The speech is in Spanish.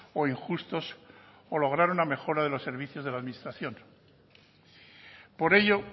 o injustos o lograr una mejora de los servicios de la administración por ello